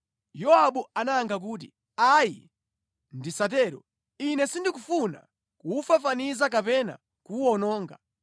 Yowabu anayankha kuti, “Ayi ndisatero. Ine sindikufuna kuwufafaniza kapena kuwuwononga.